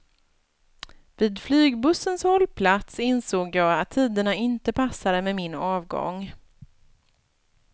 Vid flygbussens hållplats insåg jag att tiderna inte passade med min avgång.